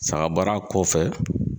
Sagabaara kɔfɛ